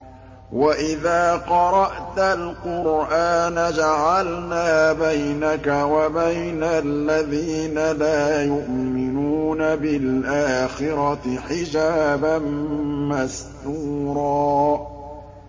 وَإِذَا قَرَأْتَ الْقُرْآنَ جَعَلْنَا بَيْنَكَ وَبَيْنَ الَّذِينَ لَا يُؤْمِنُونَ بِالْآخِرَةِ حِجَابًا مَّسْتُورًا